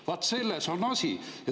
Vaat selles on asi!